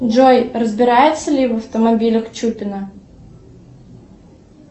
джой разбирается ли в автомобилях чупина